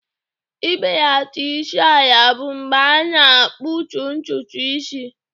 Ibelata isi ala bụ mgbe a na-akputu ntutu isi.